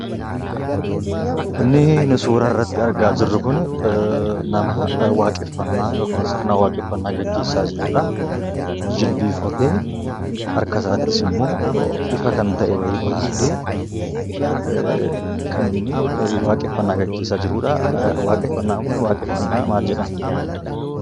Inni suura irratti argaa jiruu kun nama waaqeffannaa yookiin sirna waaqeffannaa gaggeessaa jirudha. Jilbeenfatee harka isaattis immoo ifa kan ta'e wayii baatee kan inni waaqeffannaa gaggeessaa jirudhaa. Waaqeffannaan kun waaqeffannaa maal jedhama?